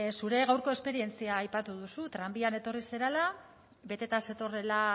zure gaurko esperientzia aipatu duzu tranbian etorri zarela beteta zetorrela